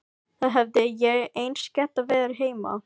Þá hefði ég eins getað verið heima.